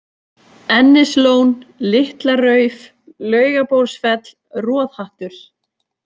Ennislón, Litla-Rauf, Laugabólsfell, Roðhattur